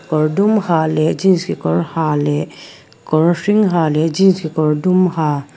kawr dum ha leh jeans kekawr ha leh kawr hring ha leh jeans kekawr dum ha.